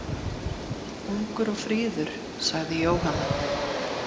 Ungur og fríður, sagði Jóhanna.